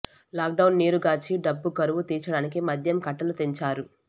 lock down నీరుగార్చి డబ్బు కరువు తీర్చడానికి మద్యం కట్టలు తెంచారు